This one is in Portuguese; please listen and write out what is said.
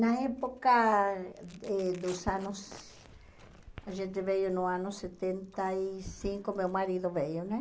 Na época eh dos anos, a gente veio no ano setenta e cinco, meu marido veio, né?